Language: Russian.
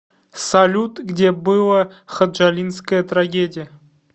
салют где было ходжалинская трагедия